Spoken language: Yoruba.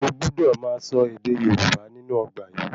O gbúdò máa sọ ède Yorùbá nínú ọgbà yìí